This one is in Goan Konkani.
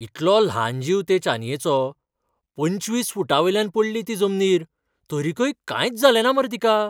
इतलो ल्हान जीव ते चानयेचो. पंचवीस फूटांवयल्यान पडली ती जमनीर. तरीकय कांयच जालेंना मरे तिका!